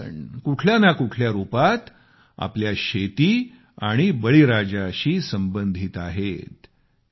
हे सगळे सण कुठल्या ना कुठल्या रुपात आपल्या शेती आणि बळीराजाशी संबंधित आहेत